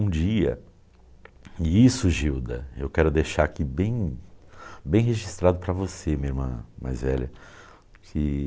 Um dia... E isso, Gilda, eu quero deixar aqui bem bem registrado para você, minha irmã mais velha. Que...